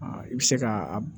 I bɛ se ka a